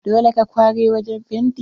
Dole ka kware wajen fenti?